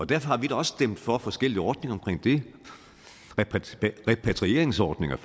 derfor har vi da også stemt for forskellige ordninger omkring det repatrieringsordninger